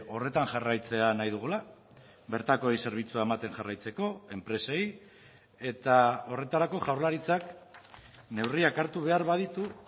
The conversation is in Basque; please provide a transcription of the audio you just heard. horretan jarraitzea nahi dugula bertakoei zerbitzua ematen jarraitzeko enpresei eta horretarako jaurlaritzak neurriak hartu behar baditu